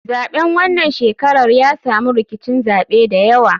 Zaɓen wanan shekarar ya samu rkicin zaɓe dayawa.